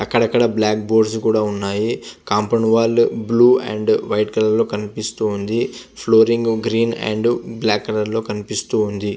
అక్కడ అకడ black boards కూడా ఉన్నాయి compound wall blue and white colour లొ కనిపిస్తూ ఉంది. Flooring green and black colour లొ కనిపిస్తూ ఉంది.